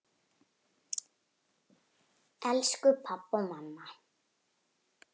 Elsku pabbi og mamma.